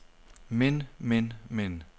men men men